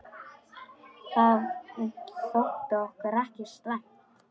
Það þótti okkur ekki slæmt.